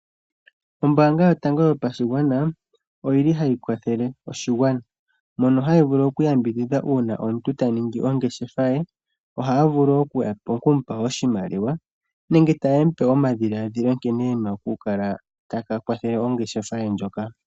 Ombaanga yotango yopashigwana ohayi kwathele oshigwana, mono hayi vulu oku yambidhidha uuna omuntu ahala okutota ongeshefa ye. Ohayi vulu okumukwathela oshimaliwa nenge tayi mupe omadhilaadhilo nkene ena oku kala ta kwathele ongeshefa ye.